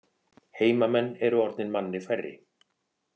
Heimamenn eru orðnir manni færri